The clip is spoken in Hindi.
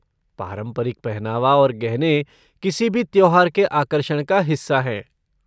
पारंपरिक पहनावा और गहने किसी भी त्योहार के आकर्षण का हिस्सा हैं।